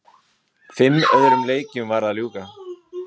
Fimm öðrum leikjum var að ljúka